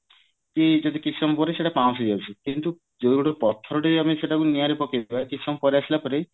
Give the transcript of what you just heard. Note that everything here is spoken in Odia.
କି କିଛି ସମୟ ପରେ ସେଇଟା ପାଉଁଶ ହେଇଯାଉଛି କିନ୍ତୁ ଯଦି ଆମେ ପଥର ସେଇଟା କୁ ନିଆଁ ରେ ପକେଇବା କିଛି ସମୟ ପରେ ଆସିଲା ପରେ